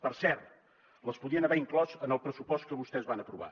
per cert les podien haver inclòs en el pressupost que vostès van aprovar